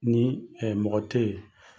Ni mɔgɔ tɛ ye.